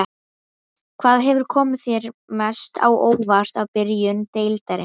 Hvað hefur komið þér mest á óvart í byrjun deildarinnar?